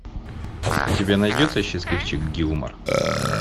у тебя найдется счастливчик гилмор